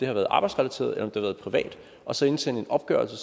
har været arbejdsrelateret eller om har været privat og så indsende en opgørelse og